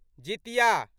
Jitiya